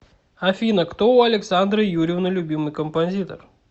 афина кто у александры юрьевны любимый композитор